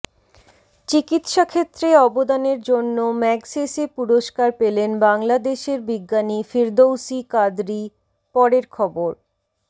চিকিৎসাক্ষেত্রে অবদানের জন্য ম্যাগসেসে পুরস্কার পেলেন বাংলাদেশের বিজ্ঞানী ফিরদৌসী কাদরী পরের খবর